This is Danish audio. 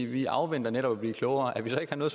vi afventer netop at blive klogere at vi så ikke har noget